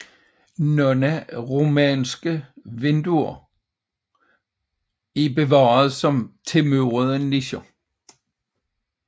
Nogle romanske vinduer er bevaret som tilmurede nicher